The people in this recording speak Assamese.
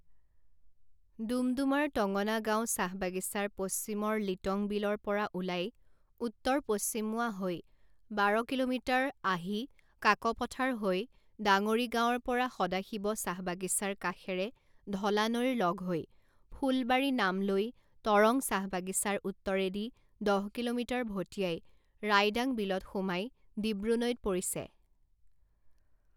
ডুমডুমাৰ টঙনা গাঁও চাহবাগিছাৰ পশ্চিমৰ লিটংবিলৰ পৰা ওলাই উত্তৰ পশ্চিমমুৱা হৈ বাৰ কিলোমিটাৰ আহি কাকপথাৰ হৈ ডাঙৰি গাঁৱৰ পৰা সদাশিৱ চাহবাগিছাৰ কাষেৰে ঢলা নৈৰ লগ হৈ ফুল বাৰী নামলৈ টৰং চাহবাগিছাৰ উত্তৰেদি দহ কিলোমিটাৰ ভটিয়াই ৰাইডাং বিলত সোমাই ডিব্ৰু নৈত পৰিছে।